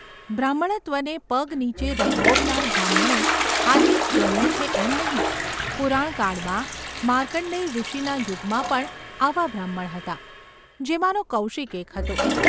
બ્રાહ્મણત્વને પગ નીચે રગદોળનાર બ્રાહ્મણો આજે જ જન્મે છે એમ નહિ, પુરાણકાળમાં માર્કણ્ડેય ઋષિના યુગમાં પણ આવા બ્રાહ્મણ હતા, જેમાંનો કૌશિક એક હતો.